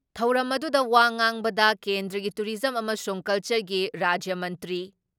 ꯊꯧꯔꯝ ꯑꯗꯨꯗ ꯋꯥ ꯉꯥꯕꯗ ꯀꯦꯟꯗ꯭ꯔꯒꯤ ꯇꯨꯔꯤꯖꯝ ꯑꯃꯁꯨꯡ ꯀꯜꯆꯔꯒꯤ ꯔꯥꯖ꯭ꯌ ꯃꯟꯇ꯭ꯔꯤ